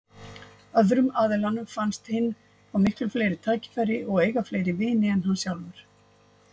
Öðrum aðilanum finnst hinn fá miklu fleiri tækifæri og eiga fleiri vini en hann sjálfur.